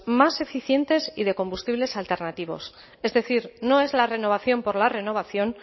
más eficientes y de combustibles alternativos es decir no es la renovación por la renovación